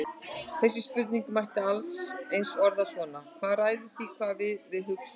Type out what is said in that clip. Þessa spurningu mætti allt eins orða svona: Hvað ræður því hvað við við hugsum?